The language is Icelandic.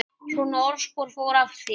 Svona orðspor fór af þér.